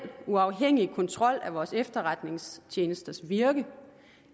uafhængig kontrol vores efterretningstjenesters virke